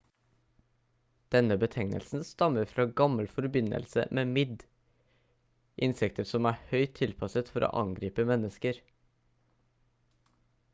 denne betegnelsen stammer fra gammel forbindelse med midd insekter som er høyt tilpasset for å angripe mennesker